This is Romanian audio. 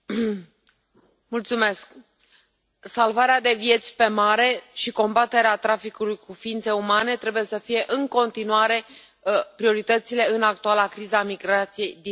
Domnule președinte, salvarea de vieți pe mare și combaterea traficului cu ființe umane trebuie să fie în continuare prioritățile în actuala criză a migrației din Mediterană.